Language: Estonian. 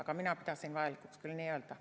Aga mina pidasin vajalikuks küll nii öelda.